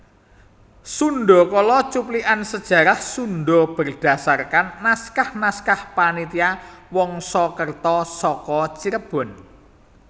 Sundhakala cuplikan sejarah Sundha berdasarkan naskah naskah Panitia Wangsakerta saka Cirebon